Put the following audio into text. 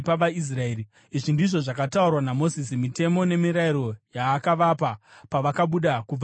Izvi ndizvo zvakataurwa naMozisi, mitemo nemirayiro yaakavapa pavakabuda kubva muIjipiti